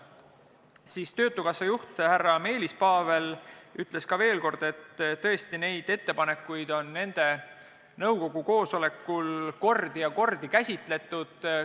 Siis ütles töötukassa juht härra Meelis Paavel veel, et tõesti neid ettepanekuid on nende nõukogu koosolekul kordi ja kordi käsitletud.